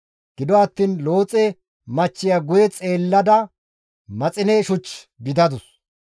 Gido attiin Looxe machchiya guye xeellada maxine shuch gidadus.